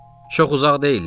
Çox uzaq deyillər.